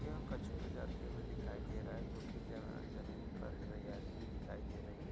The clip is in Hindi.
यह कछव जाते हुए दिखाई दे रहा है जोकि जमीन पर हरियाली भी दिखाई दे रही है।